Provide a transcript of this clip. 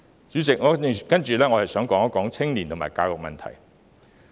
主席，接下來，我想談談青年和教育的問題。